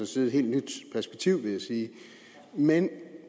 side et helt nyt perspektiv vil jeg sige men